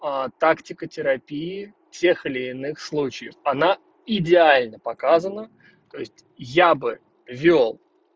тактика терапии тех или иных случаев оно идеально показана то есть я бы вёл